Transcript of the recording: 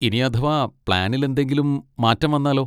ഇനി അഥവാ പ്ലാനിൽ എന്തെങ്കിലും മാറ്റം വന്നാലോ?